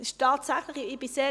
Es ist tatsächlich so.